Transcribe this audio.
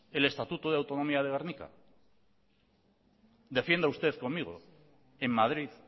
el estatuto de autonomía de gernika defiende usted conmigo en madrid